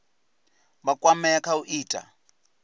vha kwamea kha u ita